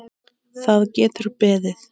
Það getur beðið.